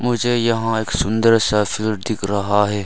मुझे यहां एक सुंदर सा फील्ड दिख रहा है।